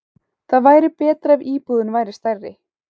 Það væri betra ef íbúðin væri stærri.